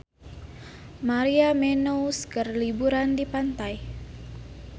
Maria Menounos keur liburan di pantai